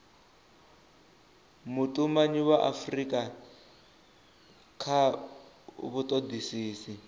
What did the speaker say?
vhutumanyi ha afurika kha vhutodisisi